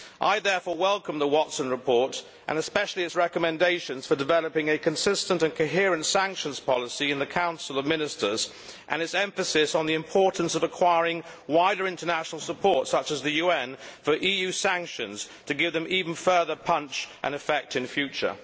I therefore welcome the Watson report and especially its recommendations for developing a consistent and coherent sanctions policy in the Council of Ministers, and its emphasis on the importance of acquiring wider international support such as the UN for EU sanctions to give them even further punch and effect in future.